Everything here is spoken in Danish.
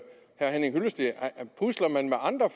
henning hyllested pusler man med andre